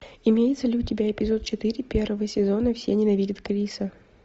имеется ли у тебя эпизод четыре первого сезона все ненавидят криса